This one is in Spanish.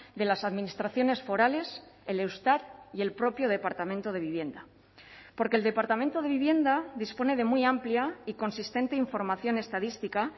de las administraciones forales el eustat y el propio departamento de vivienda porque el departamento de vivienda dispone de muy amplia y consistente información estadística